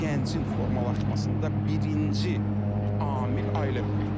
Gəncin formalaşmasında birinci amil ailə mühitidir.